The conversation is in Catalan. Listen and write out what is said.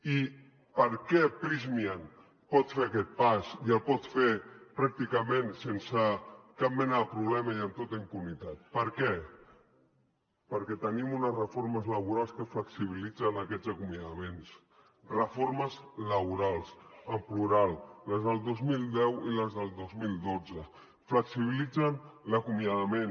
i per què prysmian pot fer aquest pas i el pot fer pràcticament sense cap mena de problema i amb tota impunitat per què perquè tenim unes reformes laborals que flexibilitzen aquests acomiadaments reformes laborals en plural les del dos mil deu i les del dos mil dotze flexibilitzen l’acomiadament